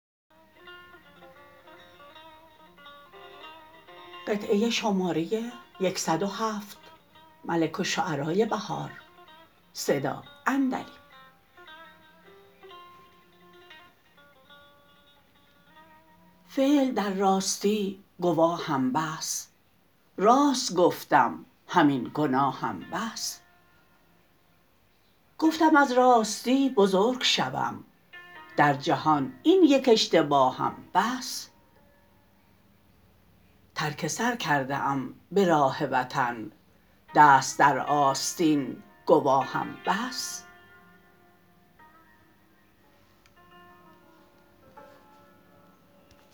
فعل در راستی گواهم بس راست گفتم همین گناهم بس گفتم از راستی بزرگ شوم در جهان این یک اشتباهم بس ترک سرکرده ام به راه وطن دست در آستین گواهم بس